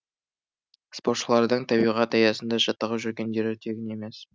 спортшылардың табиғат аясында жаттығып жүргендері тегін емес